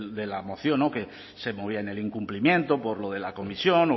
de la moción que se movía en el incumplimiento por lo de la comisión